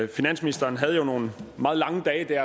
finansministeren havde jo nogle meget lange dage